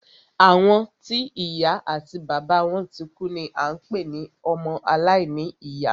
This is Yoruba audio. Àwọn tí ìya àti bàbá wọn tikú ni à ń pé ní ọmọ alàìní ìyá.